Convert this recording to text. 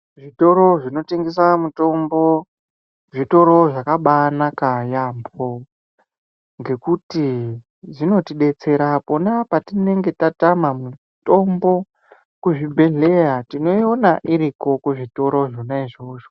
Zvitoro zvinotengesa mutombo zvitoro zvakabai naka yaambo ngokuti zvinotibetsera pona patinenge tatama mutombo kuzvibhedhleya tinoiona iriko kuzvitoro zvona izvozvo.